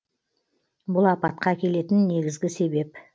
бұл апатқа әкелетін негізгі себеп